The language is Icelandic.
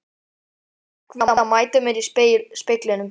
Hrekk við að mæta mér í speglinum.